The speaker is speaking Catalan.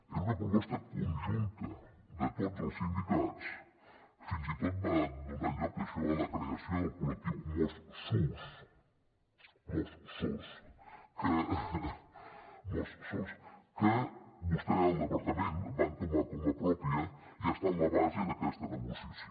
era una proposta conjunta de tots els sindicats fins i tot va donar lloc això a la creació del col·lectiu mossos que vostè al departament va entomar com a pròpia i ha estat la base d’aquesta negociació